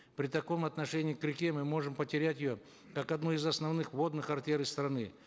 при таком отношении к реке мы можем потерять ее как одну из основных водных артерий страны